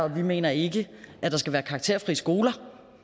vi mener ikke at der skal være karakterfrie skoler